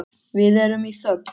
Við erum í þögn.